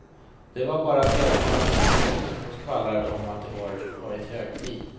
Det var bara björkarna vid ingången som skvallrade om att det varit högtid.